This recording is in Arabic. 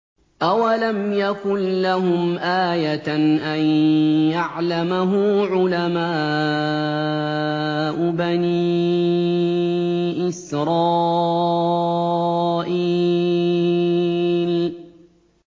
أَوَلَمْ يَكُن لَّهُمْ آيَةً أَن يَعْلَمَهُ عُلَمَاءُ بَنِي إِسْرَائِيلَ